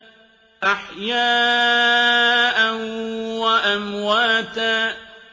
أَحْيَاءً وَأَمْوَاتًا